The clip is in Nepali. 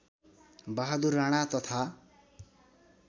बहादुर राणा तथा